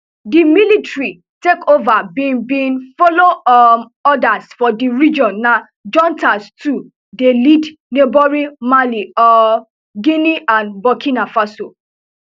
di military takeover bin bin follow um odas for di region na juntas too dey lead neighbouring mali um guinea and burkina faso